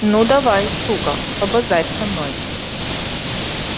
ну давай сука побазарь со мной